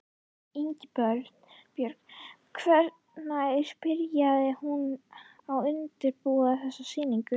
Ingibjörg, hvenær byrjaðir þú að undirbúa þessa sýningu?